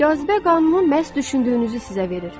Cazibə qanunu məhz düşündüyünüzü sizə verir.